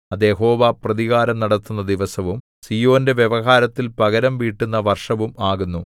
അത് യഹോവ പ്രതികാരം നടത്തുന്ന ദിവസവും സീയോന്റെ വ്യവഹാരത്തിൽ പകരംവീട്ടുന്ന വർഷവും ആകുന്നു